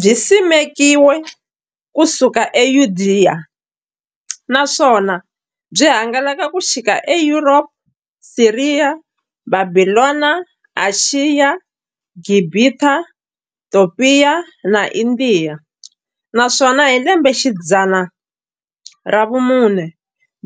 Byisimekiwe ku suka e Yudeya, naswona byi hangalake ku xika e Yuropa, Siriya, Bhabhilona, Ashiya, Gibhita, Topiya na Indiya, naswona hi lembexidzana ra vumune